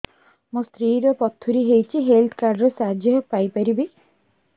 ମୋ ସ୍ତ୍ରୀ ର ପଥୁରୀ ହେଇଚି ହେଲ୍ଥ କାର୍ଡ ର ସାହାଯ୍ୟ ପାଇପାରିବି